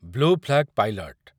blue flag pilot